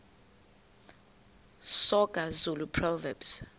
soga zulu proverbs